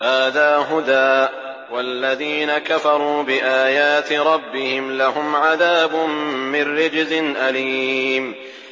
هَٰذَا هُدًى ۖ وَالَّذِينَ كَفَرُوا بِآيَاتِ رَبِّهِمْ لَهُمْ عَذَابٌ مِّن رِّجْزٍ أَلِيمٌ